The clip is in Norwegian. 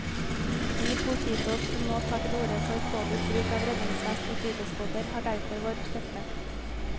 De politifolk som nå tar til orde for påbudt bruk av redningsvest i fritidsbåter, har derfor vår støtte.